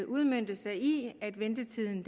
udmønte sig i at ventetiden